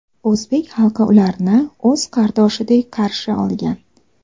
O‘zbek xalqi ularni o‘z qardoshidek qarshi olgan.